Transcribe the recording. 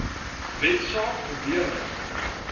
wet saak beweerde